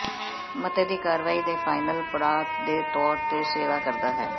ਮਤੇ ਦੀ ਕਾਰਵਾਈ ਦੇ ਫਾਈਨਲ ਪੜਾਅ ਦੇ ਤੌਰ ਤੇ ਸੇਵਾ ਕਰਦਾ ਹੈ